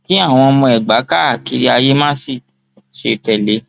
kí àwọn ọmọ ẹgbà káàkiri ayé má sì ṣe tẹlẹ ẹ